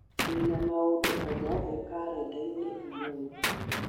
ndĩ na maũndũ o mothe karenda-inĩ ũmũthi